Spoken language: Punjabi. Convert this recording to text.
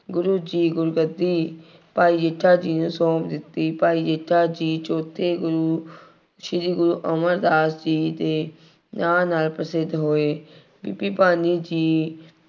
ਗੁਰੂ ਜੀ ਗੁਰਗੱਦੀ, ਭਾਈ ਜੇਠਾ ਜੀ ਨੂੰ ਸੌਂਪ ਦਿੱਤੀ। ਭਾਈ ਜੇਠਾ ਜੀ ਚੌਥੇ ਗੁਰੂ ਸ਼੍ਰੀ ਗੁਰੂ ਅਮਰਦਾਸ ਜੀ ਦੇ ਨਾਂ ਨਾਲ ਪ੍ਰਸਿੱਧ ਹੋਏ। ਬੀਬੀ ਭਾਨੀ ਜੀ